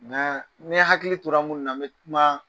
Ŋaa ne hakili tora minnu na be kuma